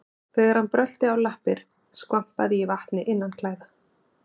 Þegar hann brölti á lappir skvampaði í vatni innanklæða.